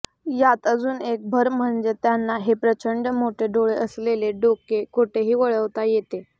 यात अजून एक भर म्हणजे त्यांना हे प्रचंड मोठे डोळे असलेले डोके कुठेही वळवता येते